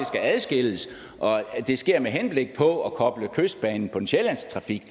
skal adskilles og at det sker med henblik på at koble kystbanen på den sjællandske trafik